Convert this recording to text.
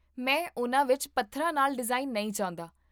ਮੈਂ ਉਨ੍ਹਾਂ ਵਿੱਚ ਪੱਥਰਾਂ ਨਾਲ ਡਿਜ਼ਾਈਨ ਨਹੀਂ ਚਾਹੁੰਦਾ